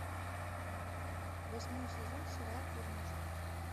восьмой сезон сериал дурнушка